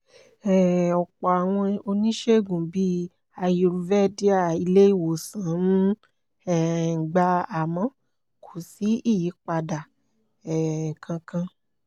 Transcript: um ọ̀pọ̀ àwọn oníṣègùn bíi ayurvédíà ilé ìwòsàn ń um gbà àmọ́ kò sí ìyípadà um kankan